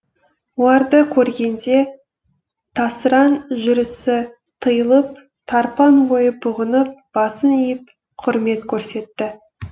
оларды көргенде тасыраң жүрісі тыйылып тарпаң ойы бұғынып басын иіп құрмет көрсетті